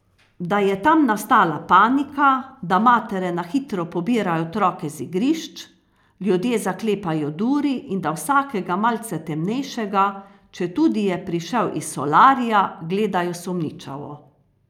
Da je tam nastala panika, da matere na hitro pobirajo otroke z igrišč, ljudje zaklepajo duri in da vsakega malce temnejšega, četudi je prišel iz solarija, gledajo sumničavo.